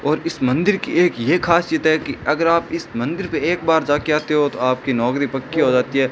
और इस मंदिर की एक ये खासियत है कि अगर आप इस मंदिर पे एक बार जाकर आते हो तो आपकी नौकरी पक्की हो जाती है।